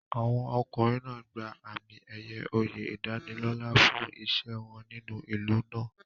Àwọn ọkùnrin náà gba àmì-ẹ̀yẹ oyè ìdánilọ́là fún iṣẹ́ wọn nínú ìlú náà.